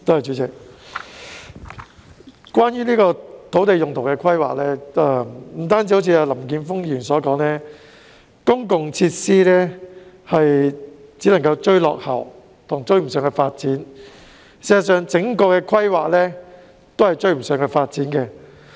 主席，關於土地用途規劃，不但如同林健鋒議員所說，公共設施只能追落後，事實上，整體規劃全都追不上發展。